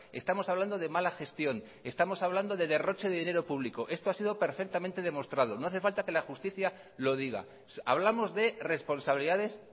estamos hablando de mala gestión estamos hablando de derroche de dinero público esto ha sido perfectamente demostrado no hace falta que la justicia lo diga hablamos de responsabilidades